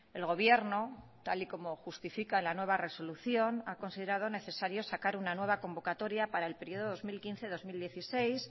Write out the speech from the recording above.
el gobierno tal y como justifica la nueva resolución ha considerado necesario sacar una nueva convocatoria para el periodo dos mil quince dos mil dieciséis